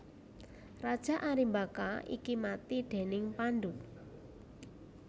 Raja Arimbaka iki mati déning Pandhu